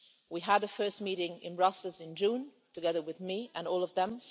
We had the first meeting in Brussels in June, together with me and all of them.